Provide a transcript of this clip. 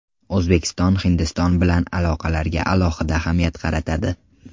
O‘zbekiston Hindiston bilan aloqalarga alohida ahamiyat qaratadi.